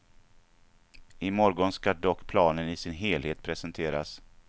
I morgon ska dock planen i sin helhet presenteras.